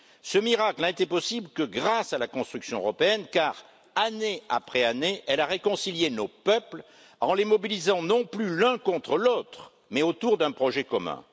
Ce miracle n'a été possible que grâce à la construction européenne car, année après année, elle a réconcilié nos peuples en les mobilisant, non plus l'un contre l'autre, mais autour d'un projet commun.